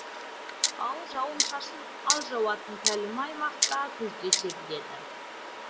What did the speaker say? ал жауын шашын аз жауатын тәлімі аймақта күзде себіледі